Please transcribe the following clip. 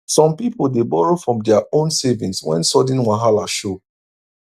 some people dey borrow from dia own savings when sudden wahala show